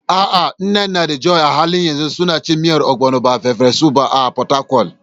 A'a, Nneka da Joy a halin yanzu suna cin miyar Ogbono, ba farfesu ba, a Fatakwal.